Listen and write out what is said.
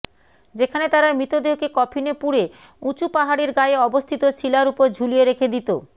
যেখানে তারা মৃতদেহকে কফিনে পুড়ে উঁচু পাহাড়ের গায়ে অবস্থিত শিলার উপর ঝুলিয়ে রেখে দিতো